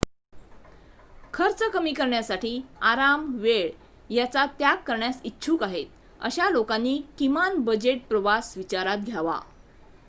खर्च कमी करण्यासाठी आराम वेळ याचा त्याग करण्यास इच्छुक आहेत अशा लोकांनी किमान बजेट प्रवास विचारात घ्यावा